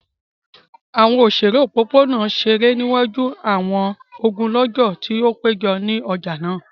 Awọn oṣere opopona ṣere niwaju awọn ogunlọgọ ti o pejọ ni ọja naa.